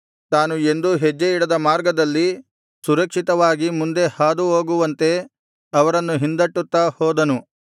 ತಾನು ಎಂದೂ ಹೆಜ್ಜೆಯಿಡದ ಮಾರ್ಗದಲ್ಲಿ ಸುರಕ್ಷಿತವಾಗಿ ಮುಂದೆ ಹಾದು ಹೋಗುವಂತೆ ಅವರನ್ನು ಹಿಂದಟ್ಟುತ್ತಾ ಹೋದನು